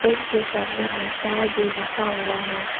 Fan के सामने में तार भी रखा हुआ है।